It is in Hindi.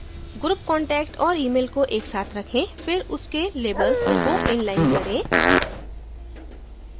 group contact और email को एक साथ रखें फिर उसके labels को inline करें